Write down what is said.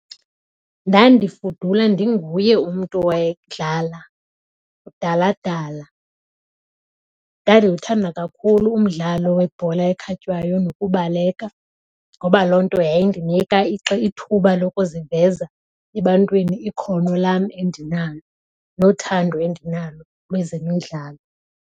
Ndandifudula ndinguye umntu owayedlala kudala kudala. Ndandiwuthanda kakhulu umdlalo webhola ekhatywayo nokubaleka ngoba loo nto yayindinika ithuba lokuziveza ebantwini ikhono lam endinalo nothando endinalo lwezemidlalo.